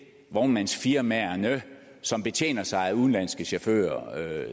vognmandsfirmaerne som betjener sig af udenlandske chauffører